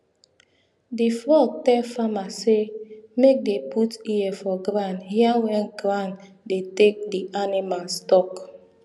di frog tell farmer say make dey put ear for ground hear wen ground dey take di animals talk